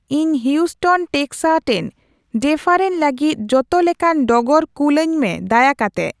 ᱤᱧ ᱦᱤᱭᱩᱥᱴᱱ ᱴᱮᱠᱥᱟᱴᱮᱱ ᱰᱮᱨᱟᱯᱷᱮᱱ ᱞᱟᱹᱜᱤᱫ ᱡᱚᱛᱚ ᱞᱮᱠᱟᱱ ᱰᱚᱜᱚᱨ ᱠᱩᱞ ᱟᱹᱧ ᱢᱮ ᱫᱟᱭᱟ ᱠᱟᱛᱮᱜ